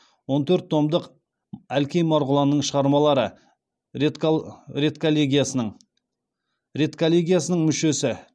он төрт томдық әлкей марғұланның шығармалары редколлегиясының мүшесі